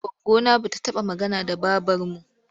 Goggona ba ta magana da babarmu.